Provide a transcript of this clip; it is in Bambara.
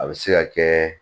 A bɛ se ka kɛ